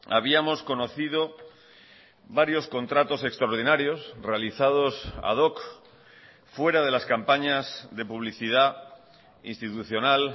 habíamos conocido varios contratos extraordinarios realizados ad hoc fuera de las campañas de publicidad institucional